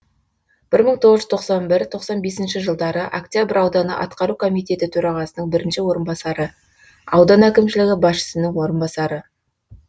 бір мың тоғыз жүз тоқсан бір тоқсан бесінші жылдары октябрь ауданы атқару комитеті төрағасының бірінші орынбасары аудан әкімшілігі басшысының орынбасары